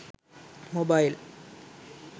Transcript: mobile